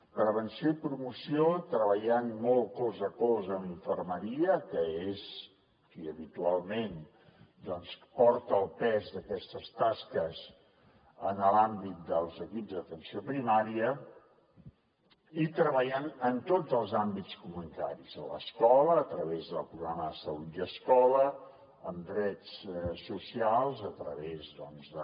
prevenció i promoció treballant molt colze a colze amb infermeria que és qui habitualment doncs porta el pes d’aquestes tasques en l’àmbit dels equips d’atenció primària i treballant en tots els àmbits comunitaris a l’escola a través del programa de salut i escola amb drets socials a través de